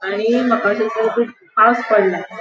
आणि माका थंयसर पावस पडला.